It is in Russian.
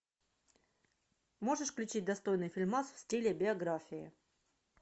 можешь включить достойный фильмас в стиле биография